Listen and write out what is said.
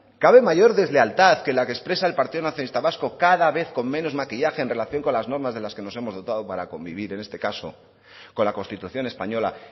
cabe mayor deslealtad que la que expresa el partido nacionalista vasco cada vez con menos maquillaje en relación con las normas de las que nos hemos dotado para convivir en este caso con la constitución española